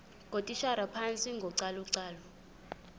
ngootitshala phantsi kocalucalulo